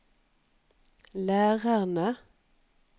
lærerne